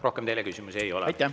Rohkem teile küsimusi ei ole.